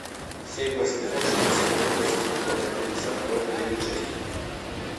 семь восемьсот шестьдесят один восемьсот двадцать пятьдесят ноль девять шесть